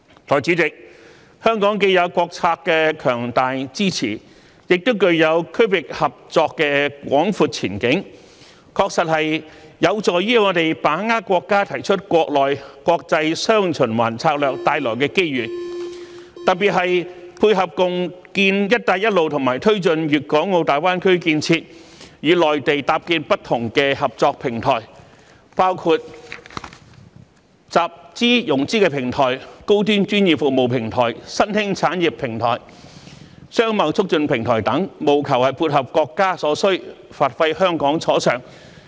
代理主席，香港既有國策的強大支持，亦具有區域合作的廣闊前景，確實有助於我們把握國家提出國內、國際"雙循環"策略帶來的機遇，特別是配合共建"一帶一路"和推進粵港澳大灣區建設，與內地搭建不同的合作平台，包括集資融資平台、高端專業服務平台、新興產業平台、商貿促進平台等，務求配合國家所需，發揮香港所長。